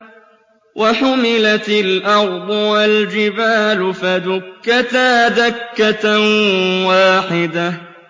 وَحُمِلَتِ الْأَرْضُ وَالْجِبَالُ فَدُكَّتَا دَكَّةً وَاحِدَةً